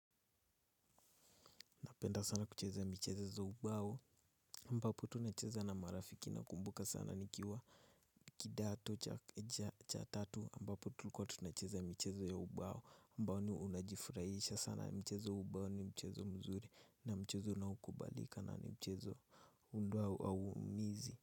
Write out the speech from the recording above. Napenda sana kucheza michezo za ubao ambapo tunacheza na marafiki nakumbuka sana nikiwa kidato cha tatu ambapo tulikuwa tunacheza michezo ya ubao ambao ni unajifurahisha sana mchezo wa ubao ni mchezo mzuri na mchezo unaokubalika na ni mchezo huu ndio hauumizi.